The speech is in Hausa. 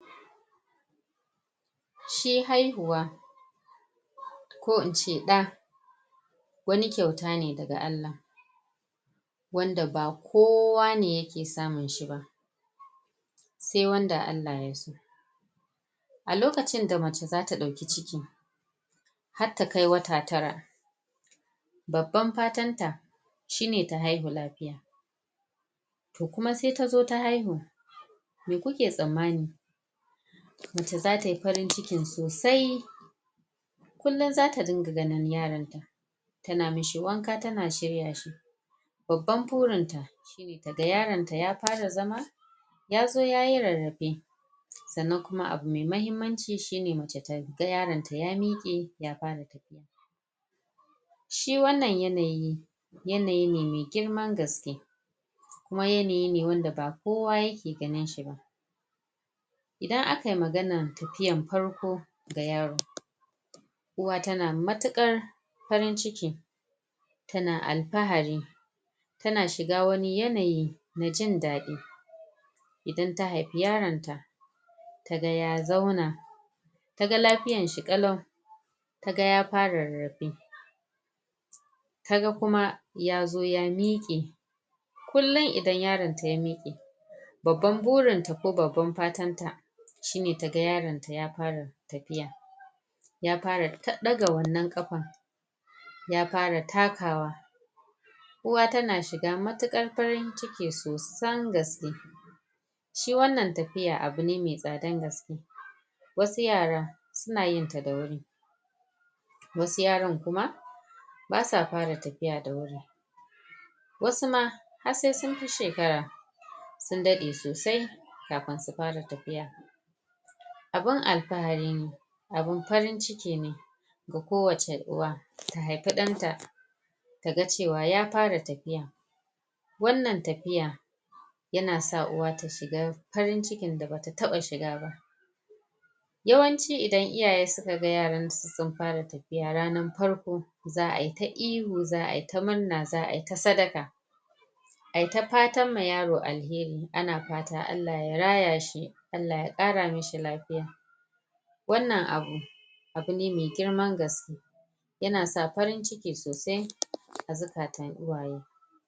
shi haihuwa ko ince ɗaa wani kyauta ne daga Allah wanda ba kowa ne yake samun shi sai wanda Allah yaso a lokacin da mace zata dauki ciki har ta kai wata tara babban fatan ta shine ta haihu lafiya kuma sai tazo ta haihu meh kuke sammani mace zatayi farin ciki sosai kullun zata dinga ganin yaron ta tana mishi wanka tana shirya shi babban burin ta shine ta ga yaron ta ya fara zama yazo yayi rarrafe sannan abu mai mahimmanci shi ne mace ta ga yaron ta ya mike ya fara tafiya shi wannan yanayi yanayi ne mai girman gaske kuma yanayi ne wanda ba kowa yake ganin shi ba idan aka yi maganan tafiyan farko ga yaro uwa tana matuƙar farin ciki tana alfahari tana shiga wani yanayi na jin dadi idan ta haifi yaron ta ta ga ya zauna taga lafiyar shi kalau taga ya fara rarrafe kuma yazo ya miƙe kullum idan yaronta ya miƙe babban burin ta ko babban fatan ta shine taga yaron ta ya fara tafiya ya fara daga wannan kafan ya fara takawa uwa tana shiga matuƙar farin ciki sosan gaske shi wannan tafiyar abu ne mai tsada sosai wasu yara suna yin ta da wuri wasu yaran kuma basa fara tafiya da wuri wasu ma har sai sun fi shekara sun ɗade sosai kafun su fara tafiya abun alfahari ne abun farin ciki ne ga ko wace uwa ta haifi dan ta taga cewa ya fara tafiya wannan tafiya yana sa uwa ta shiga farin ciki da bata taba shiga ba yawanci idan iyay suka ga yaransu sun fara tafiya ranar farko za'a ta ihu za'a ta murna za'ayi ta sadaqa ayi ta fatan ma yaro alheri ana fata Allah ya raya shi Allah ya kara mishi lafiya wannan abu abune mai girman gaske yana sa farin ciki sosai a zuƙatan uwaye.